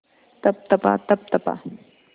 तप तपा तप तपा